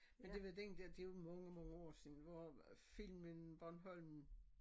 Men det var den dér det mange mnage år siden filmen Bornholm